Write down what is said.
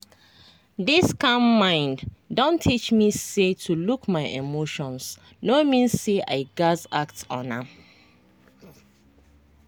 this calm mind don teach me say to look my emotions no mean say i gaz act on am.